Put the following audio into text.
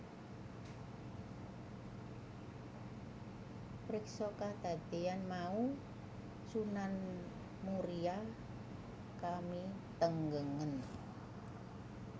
Priksa kadadéan mau Sunan Muria kamitenggengen